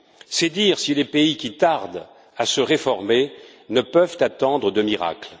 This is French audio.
C'est dire si les pays qui tardent à se réformer ne peuvent attendre de miracle.